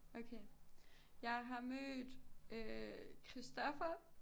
Okay jeg har mødt øh Christopher